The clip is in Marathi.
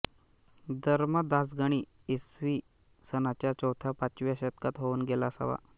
धर्मदासगणी इसवी सनाच्या चौथ्यापाचव्या शतकात होऊन गेला असावा